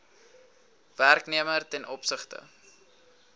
werknemer ten opsigte